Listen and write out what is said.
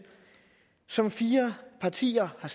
som fire partier har